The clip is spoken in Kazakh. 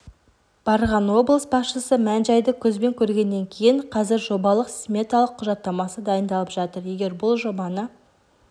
барған облыс басшысы мән-жайды көзбен көргеннен кейін қазір жобалық-сметалық құжаттамасы дайындалып жатыр егер бұл жобаны